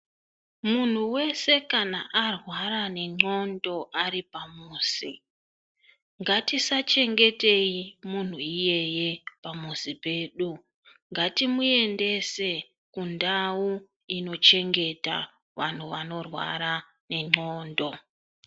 Munhu wese kana arwara nendxondo ari pamuzi, ngatisachengeteyi munhu iyeye pamuzi pedu. Ngatimuendese kundau inochengeta wanhu wanorwara nendxondo.